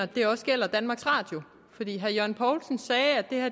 det også gælder danmarks radio herre jørgen poulsen sagde